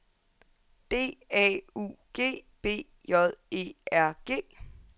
D A U G B J E R G